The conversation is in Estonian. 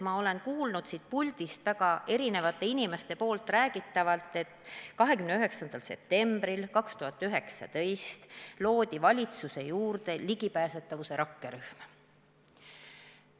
Ma olen kuulnud siit puldist väga erinevate inimeste poolt räägitavat, et 29. septembril 2019 loodi valitsuse juurde ligipääsetavuse rakkerühm.